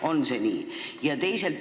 On see nii?